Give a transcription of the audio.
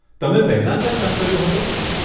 તમે પહેલાં ક્યાં કામ કર્યું હતું?